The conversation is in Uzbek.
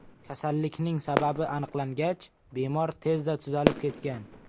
Kasallikning sababi aniqlangach bemor tezda tuzalib ketgan.